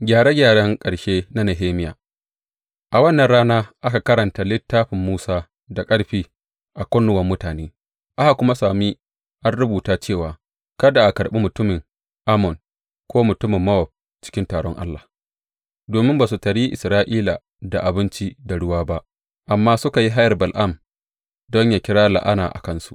Gyare gyaren ƙarshe na Nehemiya A wannan rana aka karanta Littafin Musa da ƙarfi a kunnuwan mutane aka kuma sami an rubuta cewa kada a karɓi mutumin Ammon ko mutumin Mowab cikin taron Allah, domin ba su taryi Isra’ila da abinci da ruwa ba amma suka yi hayar Bala’am don yă kira la’ana a kansu.